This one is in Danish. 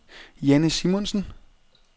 Janne Simonsen